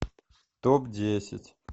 топ десять